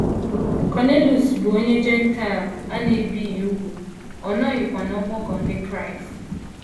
Kọniliọs bụ onye Jentaịl a na - ebighị úgwù, ọ nọghịkwa n’ọgbakọ ndị Kraịst.